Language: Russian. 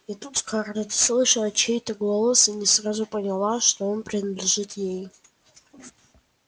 и тут скарлетт услышала чей-то голос и не сразу поняла что он принадлежит ей